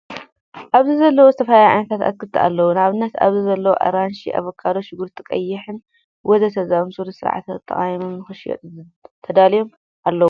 ኣብዚ ዘለው ዝተፈላለዩ ዓይነታት ኣትክትን ኣለው። ንኣብነት፦ ኣብዚ ዘለው ኣራንሺ፣ ኣቫካዶ፣ ሽጉርቲ ቀይሕን ወዘተ... ዝበሉ ብስርዓት ተቀሚጦም ንክሽየጡ ተዳልዮም ኣለው ።